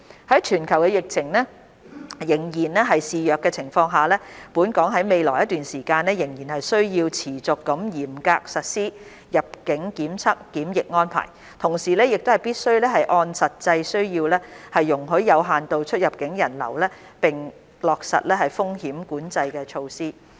在全球疫情仍然肆虐的情況下，本港於未來一段時間仍需持續嚴格實施入境檢測檢疫安排，同時亦必須按實際需要容許有限度出入境人流並落實風險管控措施。